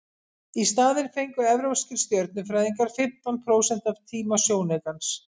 í staðinn fengu evrópskir stjörnufræðingar fimmtán prósent af tíma sjónaukans